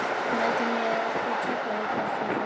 Mætið mér í Keflavík ef þið þorið!